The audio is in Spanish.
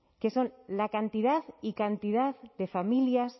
que son la cantidad y cantidad de familias